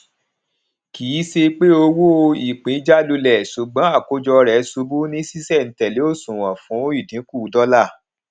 kì í ṣe pé owó ìpín jálulẹ ṣùgbón àkójọ rẹ ṣubú ní ṣíṣẹntẹlẹ òṣùwòn fún ìdínkù dọlà